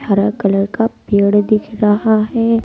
हरा कलर का पेड़ दिख रहा है।